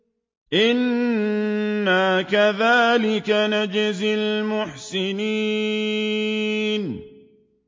إِنَّا كَذَٰلِكَ نَجْزِي الْمُحْسِنِينَ